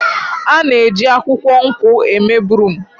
A na-eji akwukwo nkwụ eme broom.